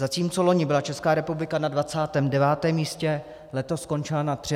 Zatímco loni byla Česká republika na 29. místě, letos skončila na 33. pozici.